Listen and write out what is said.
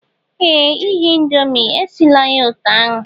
Ee! Ighe Indomie, esila ya otú ahụ